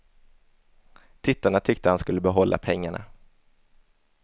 Tittarna tyckte han skulle behålla pengarna.